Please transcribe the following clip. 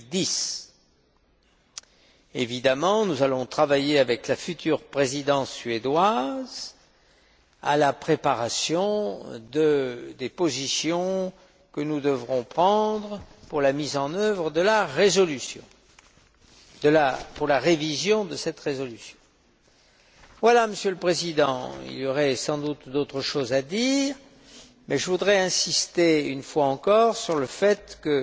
en 2010. Évidemment, nous allons travailler avec la future présidence suédoise à la préparation des positions que nous devrons prendre pour la révision de cette résolution. Voilà, Monsieur le Président, il y aurait sans doute d'autres choses à dire, mais je voudrais insister, une fois encore, sur le fait